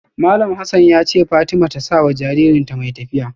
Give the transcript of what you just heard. Malam Hassan ya ce wa Fatima ta saya wa jaririnta mai tafiya.